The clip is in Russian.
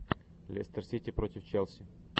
лестер сити против челси